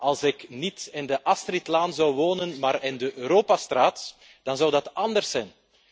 Als ik niet in de Astridlaan zou wonen maar in de Europastraat, dan zou dat anders zijn.